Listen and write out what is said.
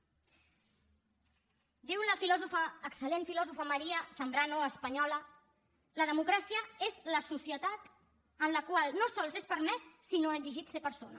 diu la filòsofa excel·lent filòsofa maría zambrano espanyola la democràcia és la societat en la qual no sols és permès sinó exigit ser persona